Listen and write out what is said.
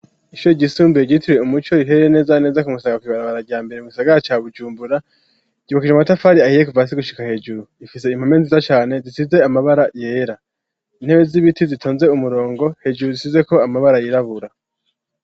Ishure ryisumbuye ryitiriwe umuco riherereye neza neza ku musanga kw'ibarabara rya mbere mu gisagara ca bujumbura ryubakishijwe amatafari ahiye kuvasi gushika hejuru rifise impome nziza cane zisize amabara yera intebe z'ibiti zitonze umurongo hejuru zisizeko amabara yirabura.